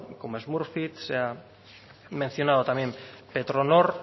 como se ha mencionado también petronor